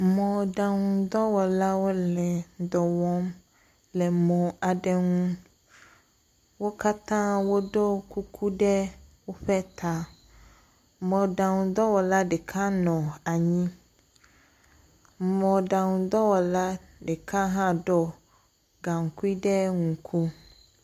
Mɔɖaŋudɔwɔlawo le dɔwɔm le m aɖe ŋu. Wo kata wo ɖo kuku ɖe woƒe ta. Mɔɖaŋudɔwɔla ɖeka nɔ anyi. Mɔɖaŋudɔwɔla ɖɔ gankui ɖe ŋku.